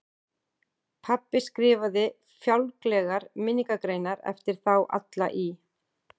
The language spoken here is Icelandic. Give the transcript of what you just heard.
Pabbi skrifaði fjálglegar minningargreinar eftir þá alla í